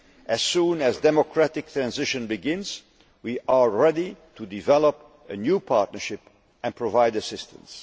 aside. As soon as a democratic transition begins, we are ready to develop a new partnership and provide assistance.